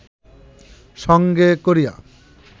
সঙ্গে করিয়া